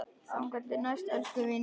Þangað til næst, elsku vinur.